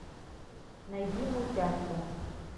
найди мультяшку